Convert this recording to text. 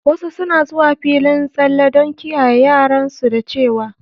Wasu suna zuwa filin tsalle don kiyaye yaran su dacewa.